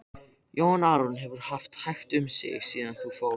Jón Arason hefur haft hægt um sig síðan þú fórst.